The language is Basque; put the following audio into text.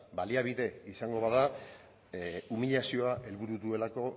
baliabide izango bada umilazioa helburu duelako